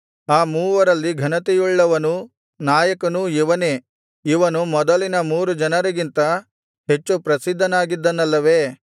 ಅ ಮೂವರಲ್ಲಿ ಘನತೆಯುಳ್ಳವನೂ ನಾಯಕನೂ ಇವನೇ ಇವನು ಮೊದಲಿನ ಮೂರು ಜನರಿಗಿಂತ ಹೆಚ್ಚು ಪ್ರಸಿದ್ಧನಾಗಿದ್ದನಲ್ಲವೇ